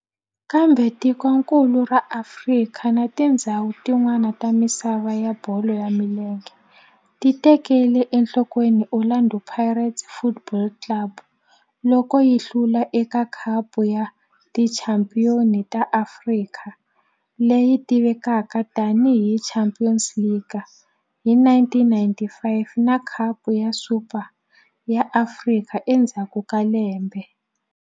Kambe tikonkulu ra Afrika na tindzhawu tin'wana ta misava ya bolo ya milenge ti tekele enhlokweni Orlando Pirates Football Club loko yi hlula eka Khapu ya Tichampion ta Afrika, leyi tivekaka tani hi Champions League, hi 1995 na Khapu ya Super ya Afrika endzhaku ka lembe.